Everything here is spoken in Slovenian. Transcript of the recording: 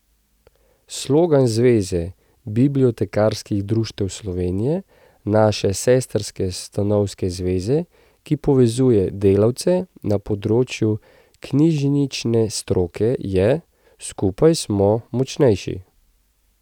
Slogan Zveze bibliotekarskih društev Slovenije, naše sestrske stanovske zveze, ki povezuje delavce na področju knjižnične stroke, je: 'Skupaj smo močnejši'.